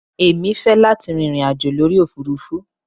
Èmi fẹ́ láti rin ìrìn àjò lórí òfurufú.